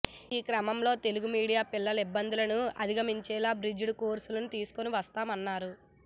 ఈ క్రమంలో తెలుగు మీడియం పిల్లలు ఇబ్బందులను అధిగమించేలా బ్రిడ్జ్ కోర్సులు తీసుకుని వస్తామన్నారు